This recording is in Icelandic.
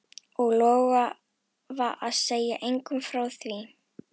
Og lofa að segja engum frá því?